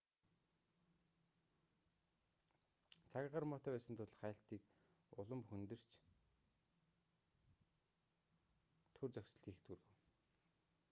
цаг агаар муутай байсан тул хайлтыг улам хүндэрч түр зогсолт хийхэд хүргэв